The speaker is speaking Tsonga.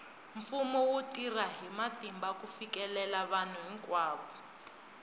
mfumo wu tirha hi matimba ku fikelela vanhu hinkwavo